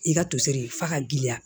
I ka toseri f'a ka girinya